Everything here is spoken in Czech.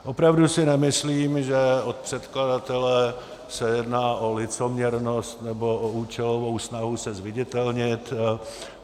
Opravdu si nemyslím, že od předkladatele se jedná o licoměrnost nebo o účelovou snahu se zviditelnit.